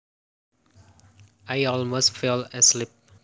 I almost fell asleep